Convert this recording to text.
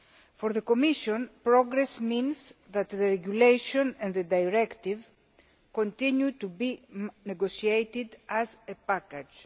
For the Commission, progress means that the regulation and the directive continue to be negotiated as a package.